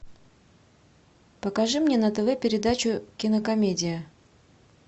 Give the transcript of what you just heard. покажи мне на тв передачу кинокомедия